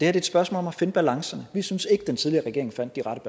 er et spørgsmål om at finde balancerne vi synes ikke den tidligere regering fandt de rette